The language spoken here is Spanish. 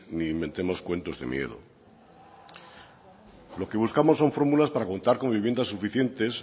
ni inventemos cuentos de miedo lo que buscamos son fórmulas para contar con viviendas suficientes